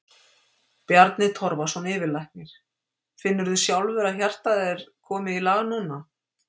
Bjarni Torfason, yfirlæknir: Finnur þú sjálfur að hjartað er komið í lag núna?